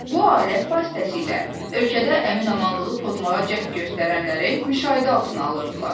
Bu alət vasitəsilə ölkədə əmin-amanlığı pozmağa cəhd göstərənləri müşahidə altına alırdılar.